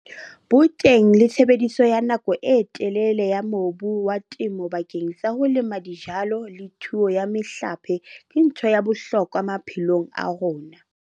Boteng le tshebediso ya nako e telele ya mobu wa temo bakeng sa ho lema dijalo le thuo ya mehlape ke ntho ya bohlokwa maphelong a rona.